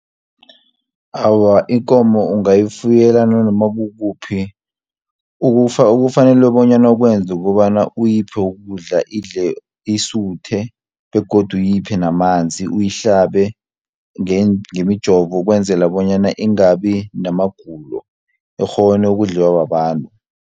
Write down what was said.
Awa ikomo ungayifuyela nanoma kukuphi, okufanele bonyana ukwenza kukobana uyiphe ukudla idle isuthe, begodu uyiphi namanzi. Uyihlabe ngemijovo ukwenzela bonyana ingabi namagulo, ikghone ukudliwa babantu.